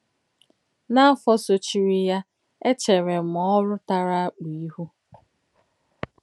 N’áfọ̀ sòchìrì yà, èchèrè m òrụ̀ tàrà àkpù íhù.